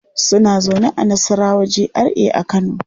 Suna zaune a Nassarawa GRA a Kano.